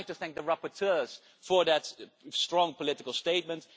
I would like to thank the rapporteurs for that strong political statement.